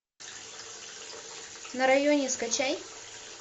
на районе скачай